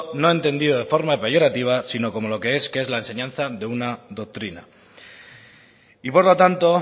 no entendido de forma peyorativa sino como lo que es que es la enseñanza de una doctrina y por lo tanto